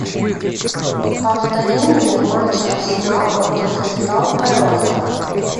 повтори мне матч арсенал против кристал пэласа